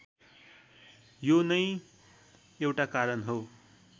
यो नै एउटा कारण हो